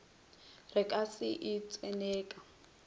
re ka se e tseneka